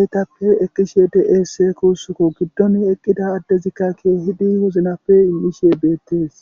eytappe ekkishe de'esse kuussukko giddon eqqida addezikka keehidi woznappe immishe beettees